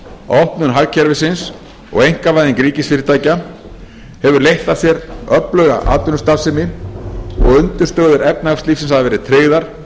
opnun hagkerfisins og einkavæðing ríkisfyrirtækja hefur leitt af sér öfluga atvinnustarfsemi og undirstöður efnahagslífsins hafa verið tryggðar